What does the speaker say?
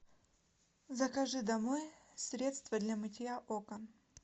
закажи домой средство для мытья окон